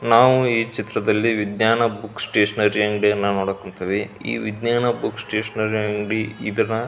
ನಾವು ಈ ಚಿತ್ರದಲ್ಲಿ ವಿಜ್ಞಾನ ಬುಕ್ ಸ್ಟೇಷನರಿ ಅಂಗಡಿಯನ್ನ ನೋಡಕ್ ಕುಂತೀವಿ ಈ ವಿಜ್ಞಾನ ಬುಕ್ ಸ್ಟೇಷನರಿ ಅಂಗಡಿ ಇದನ್ನ --